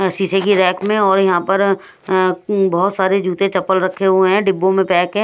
शीशे की रैक में और यहां पर अ उम बहुत सारे जूते चप्पल रखे हुए हैं डिब्बों में पैक हैं।